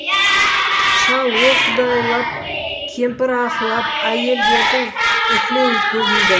шал о құдайлап кемпір аһылап әйелдердің уһілеуі көбейді